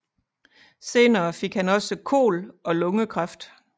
Senere fik han også KOL og lungekræft